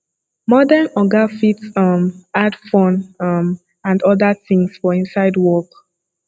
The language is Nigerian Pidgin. modern oga fit um add fun um and oda things for inside work